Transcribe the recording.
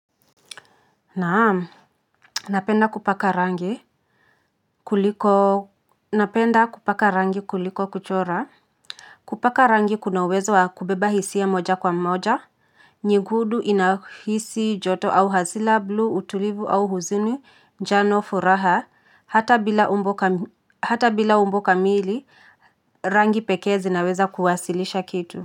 Naam, napenda kupaka rangi kuliko kuchora. Kupaka rangi kunauwezo wa kubeba hisia moja kwa moja. Nyigudu inahisi joto au hazila bluu utulivu au huzini jano furaha hata bila umbo kamili rangi pekee zinaweza kuwasilisha kitu.